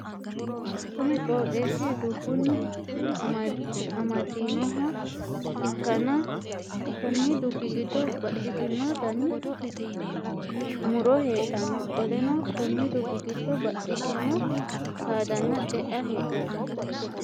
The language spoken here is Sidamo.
Kunni qooxeesi dubunni amadaninoha ikanna konni dubi gido baxitino danni muro heedhano. Qoleno konni dubi gido baxitino saadanna ce'a heedhano.